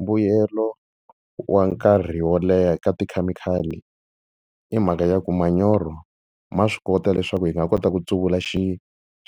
Mbuyelo wa nkarhi wo leha ka tikhemikhali i mhaka ya ku manyoro ma swi kota leswaku hi nga kota ku tsuvula